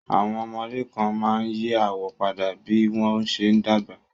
Àwọn ọmọdé kan máa ń yí àwọ̀ padà bí wọ́n ṣe ń dàgbà